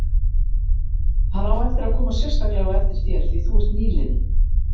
Hann á eftir að koma sérstaklega á eftir þér, því þú ert nýliði.